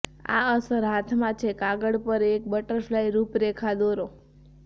આ અસર હાથમાં છે કાગળ પર એક બટરફ્લાય રૂપરેખા દોરો